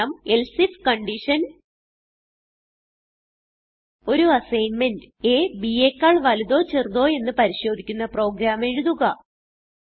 ഉദാഹരണം else if ഒരു assignment അ bയെക്കാൾ വലുതോ ചെറുതോ എന്ന് പരിശോധിക്കുന്ന പ്രോഗ്രാം എഴുതുക